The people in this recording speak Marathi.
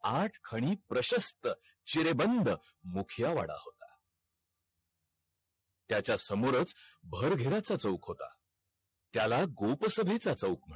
आठ खडी प्रशस्त चिरेबंद मुखिया वाडा होता. त्याच्या समोरच भारघेराचा चौक होता. त्याला गोपसभेचा चौक म्हणत